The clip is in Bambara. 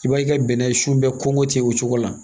I b'a ye i ka bɛnɛ si bɛɛ kɔnkɔ tɛ o cogo la